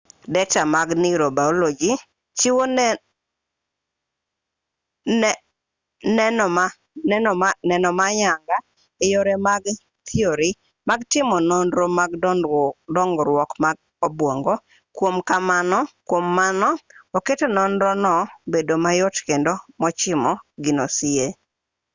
deta mag neurobaoloji chiwo neno ma ayanga e yore mag thiori mag timo nonro mag dongruok mar obuongo kwom mano oketo nonro no bedo mayot kendo mochimo gino sie